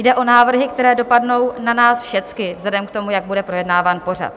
Jde o návrhy, které dopadnou na nás všechny vzhledem k tomu, jak bude projednáván pořad.